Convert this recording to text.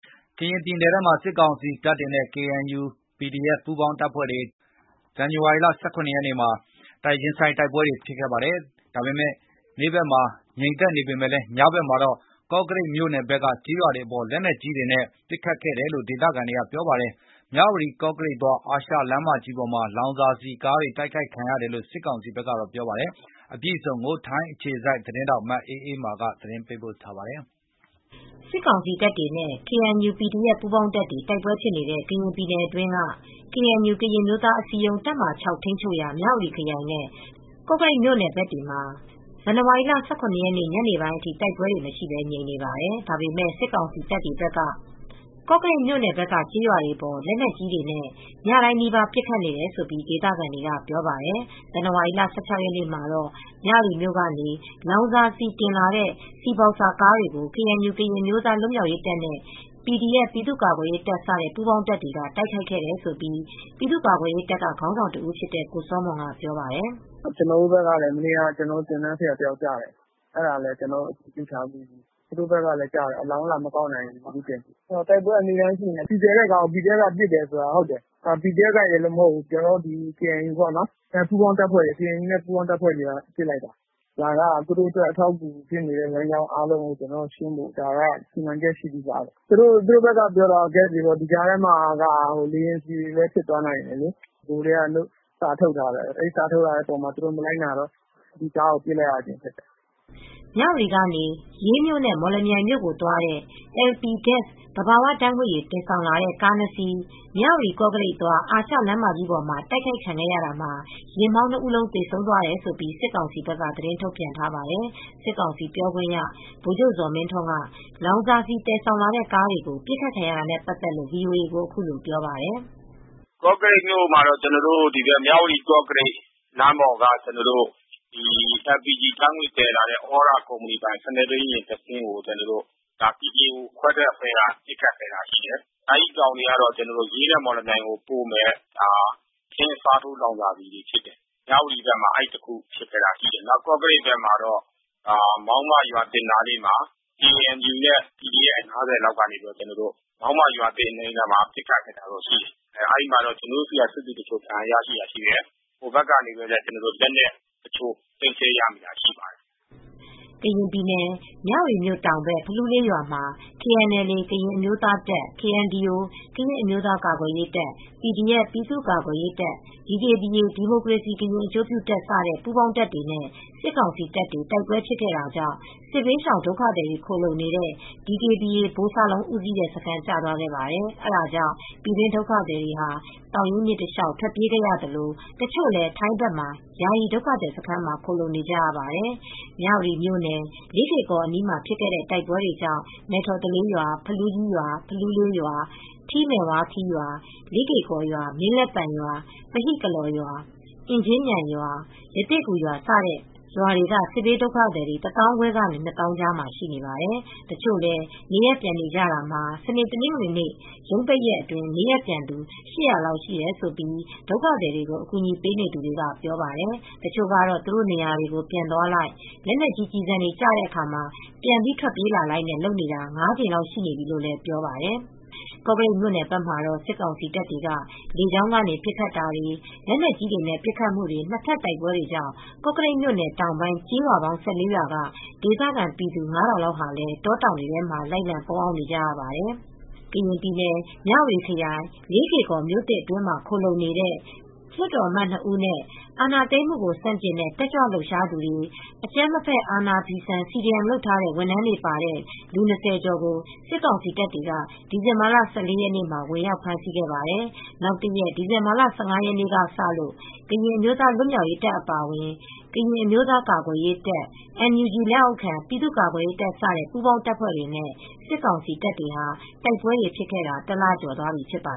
ကရင်ပြည်နယ်ထဲမှာ စစ်ကောင်စီတပ်တွေနဲ့ KNU နဲ့ PDF ပူးပေါင်းတပ်တွေ ဇန်နဝါရီလ ၁၇ ရက်မှာ ရင်ဆိုင်တိုက်ပွဲတွေ ငြိမ်နေပေမဲ့ ညဘက်တွေမှာ ကေ့ာကရိတ်မြိုနယ်ဘက်က ကျေးရွာတွေအပေါ် လက်နက်ကြီးတွေနဲ့ ပစ်ခတ်တယ်လို့ဒေသခံတွေက ပြောပါတယ်။ မြဝတီ-ကော့ကရိတ်သွား အာရှလမ်းမကြီးပေါ်မှာ လောင်စာဆီကားတွေ တိုက်ခိုက်ခံရတယ် လို့ စစ်ကောင်စီက ပြောပါတယ်။ အပြည့်အစုံကို ထိုင်းအခြေစိုက်သတင်းထောက် မအေးအေးမာက သတင်းပေးပို့ထားပါတယ်။ စစ်ကောင်စီတပ်တွေနဲ့ KNU၊ PDF ပူးပေါင်းတပ်တွေ တိုက်ပွဲတွေဖြစ်နေတဲ့ ကရင်ပြည်နယ် အတွင်းက KNU ကရင်အမျိုးသားအစည်းအရုံး တပ်မဟာ ထိမ်းချုပ်ရာ မြဝတီခရိုင်နဲ့ ကော့ကရိတ်မြို့နယ်ဘက်တွေမှာ ဇန်နဝါရီ ၁၇ ရက် ညနေပိုင်းအထိ တိုက်ပွဲတွေ မရှိဘဲ ငြိမ်နေပါတယ်။ ဒါပေမဲ့ စစ်ကောင်စီတပ်တွေဘက်က ကေ့ာကရိတ်မြိုနယ်ဘက်က ကျေးရွာတွေအပေါ် လက်နက်ကြီးတွေနဲ့ ညတိုင်းနီးပါးပစ်ခတ်နေတယ်လို့ ဒေသခံတွေက ပြောပါတယ်။ ဇန်နဝါရီလ ၁၆ရက်နေ့ကတော့ မြဝတီမြို့ကနေ လောင်စာဆီတင်လာတဲ့ ဆီဘောက်ဆာကားတွေကို KNU ကရင်အမျိုသား လွတ်မြောက်ရေးတပ်နဲ့ PDF ပြည်သူ့ကာကွယ်ရေးတပ်စတဲ့ ပူးပေါင်းတပ်တွေက တိုက်ခိုက်ခဲ့တယ်လို့ ပြည်သူကာကွယ်ရေးတပ်က ခေါင်းဆောင်တဦးဖြစ်တဲ့ ကိုစောမွန်ကပြောပါတယ်။ "ကျနော်တို့ဘက်ကလည်းမနေ့ကသင်တန်းဆရာတယောက်ကျသွားတယ်ကျနော်တို့အင်အားစုထဲကပေါ့။သူတို့ဘက်ကလည်းကျတယ် အလောင်းတောင် လာမကောက်နိုင်တာ ရှိတယ်။ တိုက်ပွဲကနေ့တိုင်းရှိနေတယ်။ ဆီသယ်တဲ့ကားကို PDF ကပစ်လိုက်တယ် ဆိုတာလည်း ဟုတ်တယ် PDF ချည်းပဲမဟုတ်ဘူး KNU နဲ့ပူးပေါင်းတပ်တွေက ပစ်တာပါ။ ဒါက သူတို့အတွက်စစ်ရေးအတွက် အထောက်အကူဖြစ်စေမယ့်ဟာတွေကိုရှင်းတာပါ ။သူတို့ကတော့ ဂက်စ်တွေဆိုပေမယ့်လည်းလေယာဉ်ဆီတွေလည်းဖြစ်ကောင်းဖြစ်မယ်။ ကျနော်တို့ စာထုတ်ထားပါတယ် သူတို့ မလိုက်နာလို့ ပစ်လိုက်တာပါ။" မြဝတီကနေ ရေးမြို့နဲ့ မော်လမြိုင်မြို့ကို သွားတဲ့ LP Gas သဘာဝဓါတ်ငွေ့ရည် တင်ဆောင်လာတဲ့ ကား ၂ စီး မြဝတီ-ကော့ကရိတ်သွား အာရှလမ်းမကြီးပေါ်မှာ တိုက်ခိုက်ခံရတာမှာ ယာဉ်မောင်း ၂ ဦးလုံးသေဆုံးသွားတယ်လို့ စစ်ကောင်စီက သတင်းထုတ်ပြန်ထားပါတယ်။ စစ်ကောင်စီပြောခွင့်ရ ဗိုလ်ချုပ်ဇော်မင်းထွန်းက လောင်စာဆီသယ်ဆောင်လာတဲ့ ကားတွေကို ပစ်ခတ်ခံရတာနဲ့ ပတ်သက်လို့ VOA ကို အခုလိုပြောပါတယ်။ "ကော့ကရိပ်မြို့ပေါ် မြဝတီကော့ကရိပ်လမ်းပေါ်က ဒီ LPG ဓါတ်ငွေ့ သယ်လာတဲ့သြရကုမဏီပိုင်တဲ့ ယာဉ်၂စင်းကို ကို DKBA ခွဲထွက်အဖွဲ့က ပစ်တာရှိတယ်။ ရေးနဲ့မော်လမြိုင်ကိုပို့မယ့် ထင်းအစားထိုးလောင်စာဆီဖြစ်တယ်။မြဝတီဘက်က အဲဒီတခုဖြစ်ခဲ့တာရှိတယ်။ ကော့ကရိပ်ဘက်မှာတော့ မောင်းမရွာသစ်အနီးမှာ KNU နဲ့ PDF ၅၀လောက်က ပစ်တာရှိတယ်။အဲဒီမှာတော့ကျနော်တို့ဆီက စစ်သည်တချို့ဒဏ်ရာရရှိတာရှိတယ် အဲဒီမှာ ပစ္စည်းတွေလည်းလက်နက်တချို့သိမ်းဆည်းရမိတာရှိပါတယ်။" ကရင်ပြည်နယ်၊ မြဝတီမြို့တောင်ဘက် ဖလူးလေးရွာမှာ KNLA ကရင်အမျိုးသားတပ် KNDO ကရင်အမျိုးသားကာကွယ်ရေးတပ်၊ PDF ပြည်သူ့ကာကွယ်ရေးတပ်၊ DKBA ဒီမိုကရေစီကရင်အကျိုးပြုတပ်စတဲ့ ပူးပေါင်းတပ်တွေနဲ့ စစ်ကောင်စီတပ်တွေတိုက်ပွဲဖြစ်ခဲ့တာကြောင့် စစ်ဘေးရှောင်ဒုက္ခသည်တွေ ခိုလှုံနေတဲ့ DKBA ဗိုလ်စလုံး ဦးစီးတဲ့စခန်းကျသွားခဲ့ပါတယ်။ အဲဒါကြောင့် ပြည်တွင်းဒုက္ခသည်တွေဟာ သောင်ရင်းမြစ်တလျောက် ထွက်ပြေးခဲ့ရသလို တချို့လည်းထိုင်းဘက်က ယာယီဒုက္ခသည်စခန်းမှာ ခိုလှုံနေကြရပါတယ်။ မြဝတီမြို့နယ် လေးကေ့ကော်အနီးမှာဖြစ်တဲ့ တိုက်ပွဲတွေကြောင့် မဲ့ထော်သလေးရွာ၊ ဖလူးလေးရွာ၊ ဖလူးကြီးရွာ၊ ထီးမဲ့ဝါးခီးရွာ၊ လေးကေ့ကော်ရွာ၊ မင်းလက်ပံရွာ၊ ပဟိကလော့်ရွာ၊ အင်ကြင်းမြိုင်ရွာ၊ ရသေ့ဂူရွာတွေက စစ်ဘေးဒုက္ခသည်တွေ တသောင်းခွဲကနေကနေ နှစ်သောင်းကြားမှာရှိပါတယ်။ တချို့လည်း နေရပ်ပြန်နေကြတာမှာ စနေ တနင်္ဂနွေရုံးပိတ်ရက်အတွင်း နေရပ်ပြန်သူ ၈၀၀ လောက်ရှိတယ်လို့ ဒုက္ခသည်အကူအညီပေးနေသူတွေကပြောပါတယ်။ တချို့ကတော့ သူတို့နေရာတွေကို ပြန်သွားလိုက် လက်နက်ကြီးကျည်ဆံတွေကျနေတဲ့အခါ ပြန်ပြီး ထွက်ပြေးလိုက်လုပ်နေရတာ ၅ ကြိမ်လောက်ရှိနေပြီလို့ ပြောပါတယ်။ ကော့ကရိတ်မြို့ဘက်မှာတော့စစ်ကောင်စီတပ်တွေက လေကြာင်းကနေပစ်ခတ်မူ့တွေ လက်နက်ကြီးတွေနဲ့ပစ်ခတ်မူတွေ နှစ်ဖက်တိုက်ပွဲတွေကြောင့် ကော့ကရိပ်မြို့တောင်ပိုင်း ကျေးရွာပေါင်း ၁၄ ရွာ က ဒေသခံ ပြည်သူ ၅၀၀၀ လောက်လည်း တောတောင်တွေထဲ လိုက်လံပုန်းအောင်းနေရပါတယ်။ ကရင်ပြည်နယ်မြဝတီခရိုင် လေးကေ့ကော်မြို့သစ် အတွင်းမှာ ခိုလှုံနေတဲ့ လွတ်တော်အမတ် ၂ ဦးနဲ့ စစ်အာဏာသိမ်းမူ့ကို ဆန့်ကျင်တဲ့တက်ကြွလှုပ်ရှားသူတွေ အကြမ်းမဖက် အာဏာဖီဆန် CDM လုပ်ထားတဲ့ ဝန်ထမ်း တွေပါတဲ့ လူ ၂၀ ကျော်ကို စစ်ကောင်စီတပ်တွေ ဒီဇင်ဘာ ၁၄ ရက်မှာ ဝင်ရောက်ဖမ်း ဆီးခဲ့ပါတယ် နောက်တရက် ဒီဇင်ဘာလ ၁၅ ရက်နေ့ကစလို့ ကရင်အမျိုးသားလွတ်မြောက်ရေးတပ်အပါအဝင် ကရင်အမျိုးသား ကာကွယ်ရေးတပ် NUG လက်အောက်ခံပြည်သူ့ကာကွယ်ရေးတပ်စတဲ့ ပူးပေါင်းတပ်ဖွဲတွေနဲ့ စစ်ကောင်စီတပ်တွေဟာ တိုက်ပွဲတွေဖြစ်ခဲ့တာ တလ ကျော်သွားပြီဖြစ်ပါ